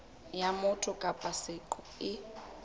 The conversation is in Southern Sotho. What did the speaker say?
ya motho ka seqo e